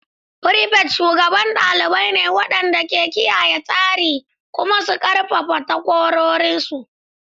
Prefects shugabannin ɗalibai ne waɗanda ke kiyaye tsari kuma suna ƙarfafa takwarorinsu.